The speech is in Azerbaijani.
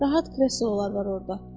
Rahat kreslolar var orda.